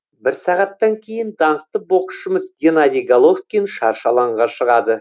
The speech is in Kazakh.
бір сағаттан кейін даңқты боксшымыз геннадий головкин шаршы алаңға шығады